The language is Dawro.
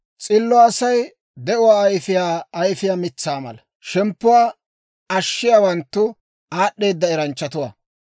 S'illo Asay de'uwaa ayifiyaa ayifiyaa mitsaa mala; shemppuwaa ashshiyaawanttu aad'd'eedda eranchchatuwaa.